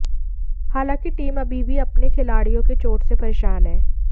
हालांकि टीम अभी भी अपने खिलाड़ियों के चोट से परेशान है